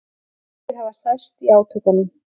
Margir hafi særst í átökunum